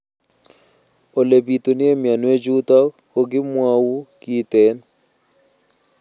Ole pitune mionwek chutok ko kimwau kitig'�n